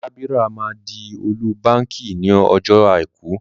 Dábírà máa di ọ́lú bakì ní ọjọ́ Àìkú.